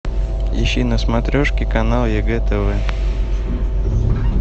ищи на смотрешке канал егэ тв